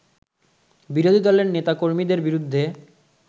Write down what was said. বিরোধী দলের নেতা-কর্মীদের বিরুদ্ধে